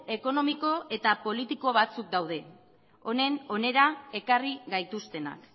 ekonomiko eta politiko batzuk daude hona ekarri gaituztenak